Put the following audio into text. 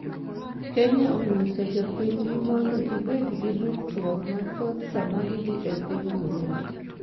Kenya onyiso jopinygi mondo gibed gi ritruok mathoth sama gidhi e piny Burundi